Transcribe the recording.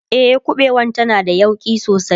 e ƙuɓewan tana da yauƙi sosai